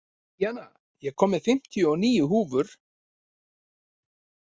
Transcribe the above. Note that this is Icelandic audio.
Díanna, ég kom með fimmtíu og níu húfur!